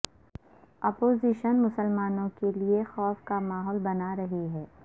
opposition مسلمانوں کے لئے خوف کا ماحول بنارہی ہے